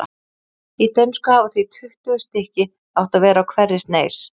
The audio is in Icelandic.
Í dönsku hafa því tuttugu stykki átt að vera á hverri sneis.